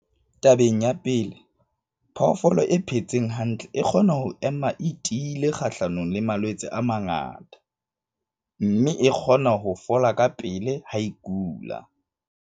Tabeng ya pele, phoofolo e phetseng hantle e kgona ho ema e tiile kgahlanong le malwetse a mangata, mme e kgona ho fola kapele ha e kula.